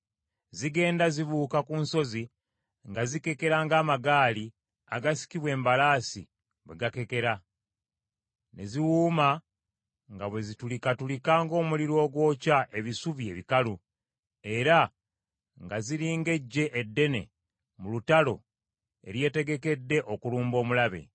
Zigenda zibuuka ku nsozi nga zikekera ng’amagaali agasikibwa embalaasi bwe gakekera; ne ziwuuma nga bwe zitulikatulika ng’omuliro ogwokya ebisubi ebikalu; era nga ziri ng’eggye eddene mu lutalo eryetegekedde okulumba omulabe.